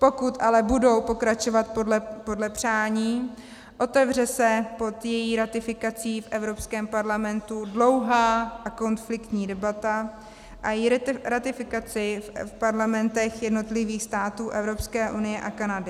Pokud ale budou pokračovat podle přání, otevře se pod její ratifikací v Evropském parlamentu dlouhá a konfliktní debata a její ratifikace v parlamentech jednotlivých států Evropské unie a Kanady.